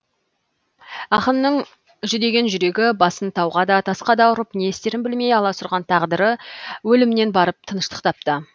ақынның жүдеген жүрегі басын тауға да тасқа да ұрып не істерін білмей аласұрған тағдыры өлімнен барып тыныштық тапты